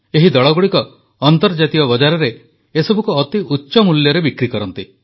ଏହି ଦଳଗୁଡ଼ିକ ଅନ୍ତର୍ଜାତୀୟ ବଜାରରେ ଏସବୁକୁ ଅତି ଉଚ୍ଚ ମୂଲ୍ୟରେ ବିକ୍ରି କରନ୍ତି